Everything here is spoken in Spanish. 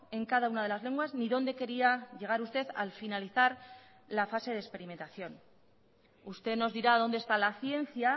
en cada una de las lenguas ni dónde quería llegar usted al finalizar la fase de experimentación usted nos dirá dónde está la ciencia